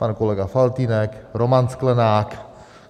Pan kolega Faltýnek, Roman Sklenák.